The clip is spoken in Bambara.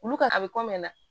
Olu ka a bɛ na